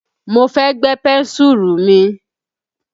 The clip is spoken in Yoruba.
Mo fẹ́ gbẹ́ pẹ́ńsùrù mi.